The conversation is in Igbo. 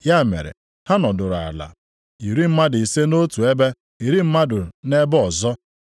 Ya mere, ha nọdụrụ ala, iri mmadụ ise nʼotu ebe, narị mmadụ nʼebe ọzọ.